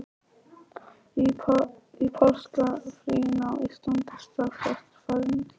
Í páskafríinu á Íslandi, strax eftir ferðina til Marokkó.